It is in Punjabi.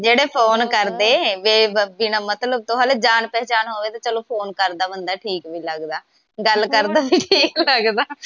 ਜਿਹੜੇ ਫੋਨ ਕਰਦੇ ਬਿਨ੍ਹਾਂ ਮਤਲਬ ਤੋਂ ਹਲੇ ਜਾਣ ਪਹਿਚਾਣ ਹੋਵੇ ਤਾ ਚਲੋ ਫੋਨ ਕਰਦਾ ਬੰਦਾ ਠੀਕ ਵੀ ਲਗਦਾ ਗੱਲ ਕਰਦਾ ਵੀ ਠੀਕ ਲਗਦਾ।